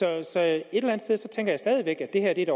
jeg stadig væk at det her er et